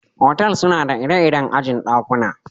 Otal suna da ire-iren aji'n dakuna.